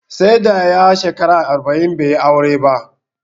Sai da ya shekara arba'in bai yi aure ba